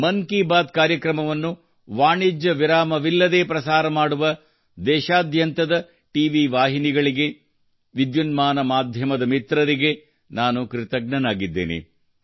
ಮನ್ ಕಿ ಬಾತ್ ಕಾರ್ಯಕ್ರಮವನ್ನು ವಾಣಿಜ್ಯ ವಿರಾಮ ಇಲ್ಲದೇ ಪ್ರಸಾರ ಮಾಡುವ ದೇಶಾದ್ಯಂತದ ಟಿವಿ ವಾಹಿನಿಗಳಿಗೆ ವಿದ್ಯುನ್ಮಾನ ಮಾಧ್ಯಮದ ಮಿತ್ರರಿಗೂ ನಾನು ಕೃತಜ್ಞನಾಗಿದ್ದೇನೆ